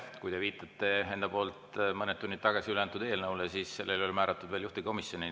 Kui te viitate enda poolt mõned tunnid tagasi üleantud eelnõule, siis sellele ei ole määratud veel juhtivkomisjoni.